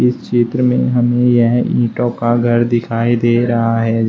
चित्र में हमें यह ईंटों का घर दिखाई दे रहा है।